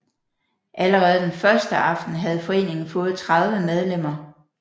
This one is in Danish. Allerede den første aften havde foreningen fået 30 medlemmer